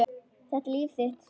Þetta er þitt líf!